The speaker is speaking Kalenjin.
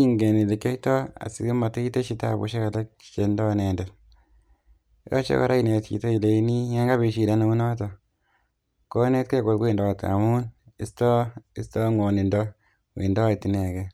ingen elekioito asimatya itesyi tabusiek alak che indo inendet. Yoche kora inet chiton ileinii yan kabit shida neunoton konetkee kowendot amun istoo stoo ngwonindo wendoet inege